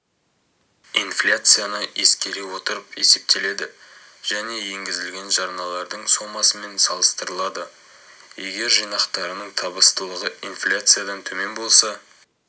инфляцияны ескере отырып есептеледі және енгізілген жарналардың сомасымен салыстырылады егер жинақтарының табыстылығы инфляциядан төмен болса